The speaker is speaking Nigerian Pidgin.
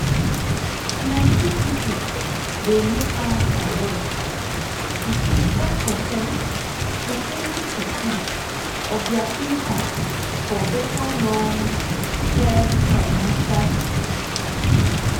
plenty people dey make am priority to keep ten percent to 20 percent of their income for better long-term financial security.